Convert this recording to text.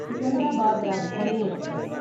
Secunderabad Rajdhani express